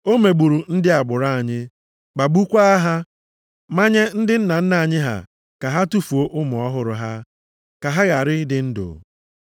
O megburu ndị agbụrụ anyị, kpagbukwaa ha. Manye ndị nna nna anyị ha ka ha tufuo ụmụ ọhụrụ ha, ka ha ghara ịdị ndụ.